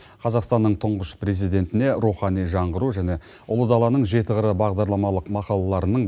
қазақстанның тұңғыш президентіне рухани жаңғыру және ұлы даланың жеті қыры бағдарламалық мақалаларының